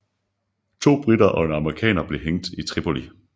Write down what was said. To briter og en amerikaner blev hængt i Tripoli